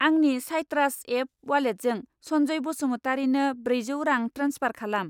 आंनि Citrus app वालेटजों सन्जय बसुमतारिनो ब्रैजौ रां ट्रेन्सफार खालाम।